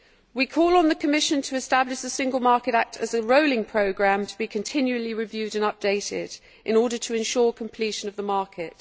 We call on the Commission to establish the Single Market Act as a rolling programme to be continually reviewed and updated in order to ensure completion of the market.